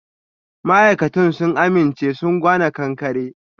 Ma'aikatan sun aminche sun gwana ƙanƙare.